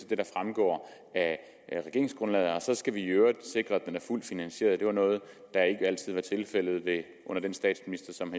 det der fremgår af regeringsgrundlaget og så skal vi i øvrigt sikre at den er fuldt finansieret det var noget der ikke altid var tilfældet under den statsminister som